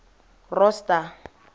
rosta